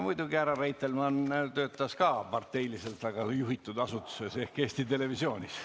Muidugi härra Reitelmann töötas samuti väga parteiliselt juhitud asutuses ehk Eesti Televisioonis.